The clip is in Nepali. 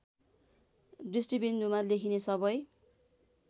दृष्टिबिन्दुमा लेखिने सबै